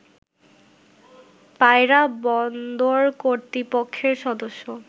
পায়রা বন্দর কর্তৃপক্ষের সদস্য